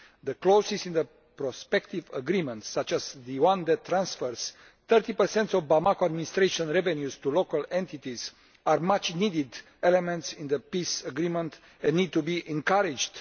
The clauses in the prospective agreements, such as the one that transfers 30 of Bamako administration revenues to local entities, are much needed elements in the peace agreement and need to be encouraged.